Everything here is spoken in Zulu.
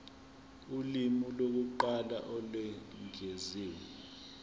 ulimi lokuqala olwengeziwe